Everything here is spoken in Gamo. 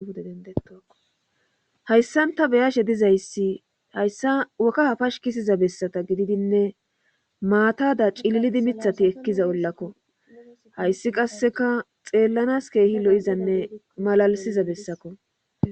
Pude dendetohayssanta beyashe dizayssi hayssa wokka hafash kisiza bessata gididinne maatada cililidi mithati ekkiza ollakko hayssi qasseka xeellanas keehi lo7izanne malalisiza bessako